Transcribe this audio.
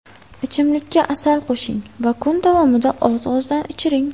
Ichimlikka asal qo‘shing va kun davomida oz-ozdan ichiring.